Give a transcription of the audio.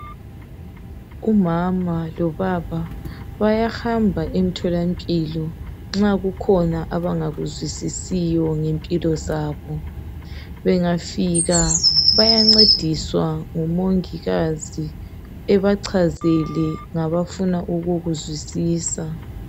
umama lobaba bayahamba emtholampilo nxa kukhona abangakuzwisisiyo ngempilo zabo bengafika bayancediswa ngu mongikazi abachazele ngabafuna ukukuzwisisa